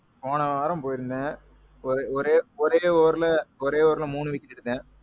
போன வாரம் போயிருந்தேன். ஒரே ஒரே ஒரே overல மூணு wicket எடுத்தேன்.